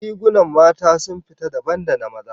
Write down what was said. Rigunan mata sun fita dabam da na maza